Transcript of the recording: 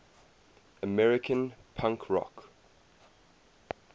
american punk rock